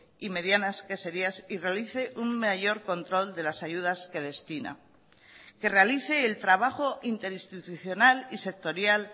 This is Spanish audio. y medianas queserías y realice un mayor control de las ayudas que destina que realice el trabajo interinstitucional y sectorial